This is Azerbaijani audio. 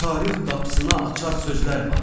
Tarix qapısına açar sözlər var.